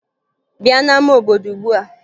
Bịa n'ama obodo ugbua!